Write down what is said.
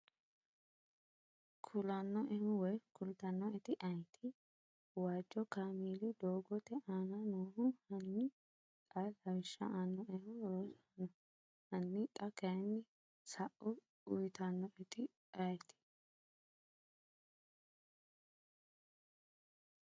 kulannoehu woy kultannooeti ayeeti? waajo kaameli doogote aana noohu Hanni xa lawishsha aannoehu Rosaano, hanni xa kayinni sa’u uyitannoeti ayeeti?